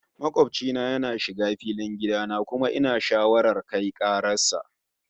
Makobci na yana shiga filin gida na, kuma ina shawarar kai karar sa